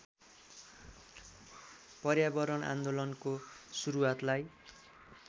पर्यावरण आन्दोलनको सुरुवातलाई